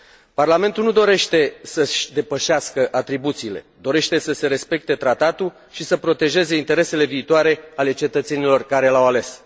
Parlamentul nu dorește să și depășească atribuțiile, dorește să se respecte tratatul și să protejeze interesele viitoare ale cetățenilor care l au ales.